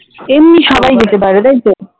এমনি সবাই যেতে পারে তাইতো?